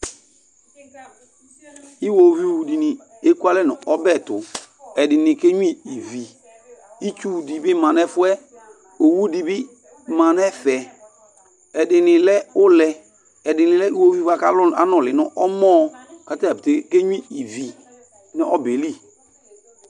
Iwoviu dini ekualɛ nu ɔbɛ ayiɛtu, ɛdini ka enyua ivi, itsu di bi ma n'ɛfuɛ, owu di bi ma n'ɛfɛ, ɛdini lɛ ũlɛ, ɛdini lɛ uwoviu bua ku anùlí n'ɛmɔ, k'atadzapeté aka enyua ivi n'ɔbɛ li